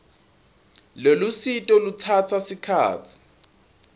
lolusito lutsatsa sikhatsi